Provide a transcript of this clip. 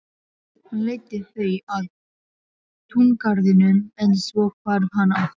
Hann leiddi þau að túngarðinum en svo hvarf hann aftur.